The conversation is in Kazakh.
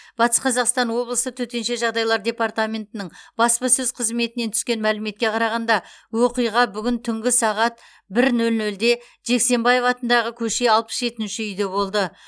батыс қазақстан облысы төтенше жағдайлар департаментінің баспасөз қызметінен түскен мәліметке қарағанда оқиға бүгін түнгі сағат бір нөл нөлде жексенбаев атындағы көше алпыс жетінші үйде болды